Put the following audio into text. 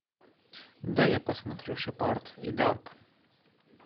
дай я посмотрю шепард и дарк